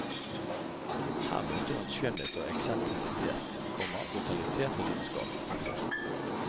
Her møter hun skjønnhet og eksentrisitet, komma brutalitet og lidenskap. punktum